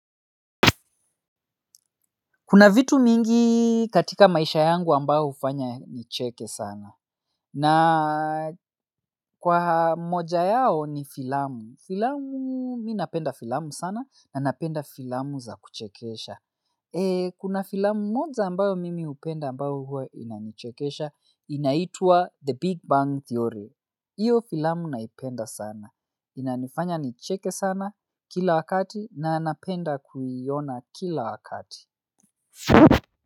Kuna vitu mingi katika maisha yangu ambayo hufanya nicheke sana. Na kwa moja yao ni filamu. Filamu, mi napenda filamu sana na napenda filamu za kuchekesha. Kuna filamu moja ambayo mimi hupenda ambayo huwa inanichekesha, inaitua The Big Bang Theory. Iyo filamu naipenda sana. Inanifanya nicheke sana kila wakati na napenda kuiona kila wakati.